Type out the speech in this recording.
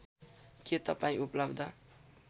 के तपाईँ उपलब्ध